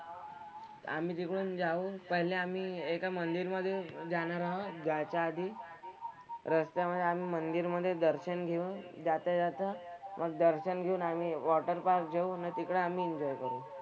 आम्ही तिकडून जाऊन पहिले आम्ही एका मंदिरमध्ये जाणार आहोत जायच्या आधी. रस्त्यामधे आम्ही मंदिरमध्ये दर्शन घेऊन जाता जाता मग दर्शन घेऊन आम्ही वॉटर पार्क जाऊ न तिकडे आम्ही एन्जॉय करू.